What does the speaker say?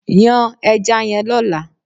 Yan ẹja yẹn lọ́la!